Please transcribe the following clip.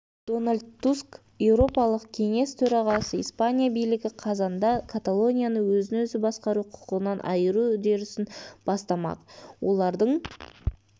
дональд туск еуропалық кеңес төрағасы испания билігі қазанда каталонияны өзін-өзі басқару құқығынан айыру үдерісін бастамақ олардың